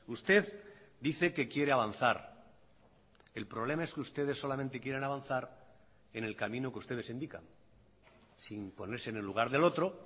usted dice que quiere avanzar el problema es que ustedes solamente quieren avanzar en el camino que ustedes indican sin ponerse en el lugar del otro